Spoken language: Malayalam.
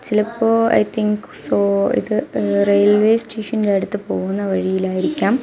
ചിലപ്പോൾ ഐ തിങ്ക് സൊ ഇത് ഏഹ് റെയിൽവേ സ്റ്റേഷന്റെ അടുത്ത് പോകുന്ന വഴിയിലായിരിക്കാം.